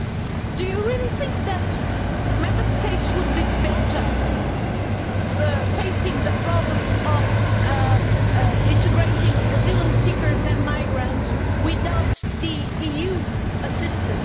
Do you really think that Member States would be better facing the problems of integrating asylum seekers and migrants without EU assistance?